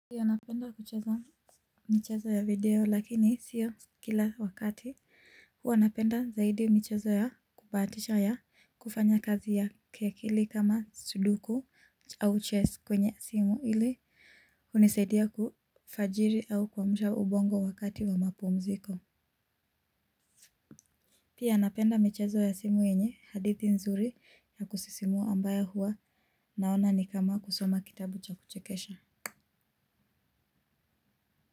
Pia napenda kucheza michezo ya video lakini sio kila wakati huwa napenda zaidi michezo ya kubahatisha ya kufanya kazi ya kiakili kama suduko au ches kwenye simu ili unisaidie kufajiri au kuamsha ubongo wakati wa mapumziko. Pia napenda michezo ya simu yenye hadithi nzuri ya kusisimua ambayo huwa naona ni kama kusoma kitabu cha kuchekesha.